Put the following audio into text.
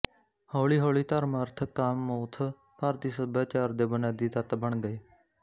ਹੌਲੀਹੌਲੀ ਧਰਮ ਅਰਥ ਕਾਮਮੋਥ ਭਾਰਤੀਸਭਿਆਚਾਰ ਦੇ ਬੁਨਿਆਦੀ ਤੱਤ ਬਣ ਗਏ